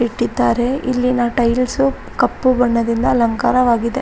ಇಟ್ಟಿದ್ದಾರೆ ಇಲ್ಲಿನ ಟೈಲ್ಸು ಕಪ್ಪು ಬಣ್ಣದಿಂದ ಅಲಂಕಾರವಾಗಿದೆ.